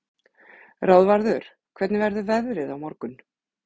Ráðvarður, hvernig verður veðrið á morgun?